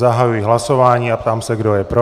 Zahajuji hlasování a ptám se, kdo je pro.